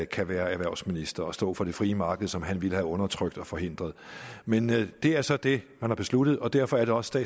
kan være erhvervsminister og stå for det frie marked som han ville have undertrykt og forhindret men det er så det man har besluttet og derfor er det også